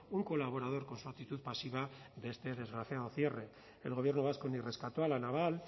un colaborador con su actitud pasiva de este desgraciado cierre el gobierno vasco ni rescató a la naval